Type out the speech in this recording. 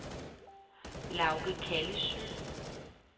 Lauge Kallesøe